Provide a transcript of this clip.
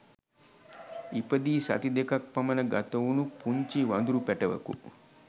ඉපදී සති දෙකක් පමණ ගතවුණු පුංචි වඳුරු පැටවකු